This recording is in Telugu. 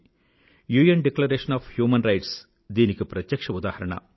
UN declaration of human rights దీనికి ప్రత్యక్ష్య ఉదాహరణ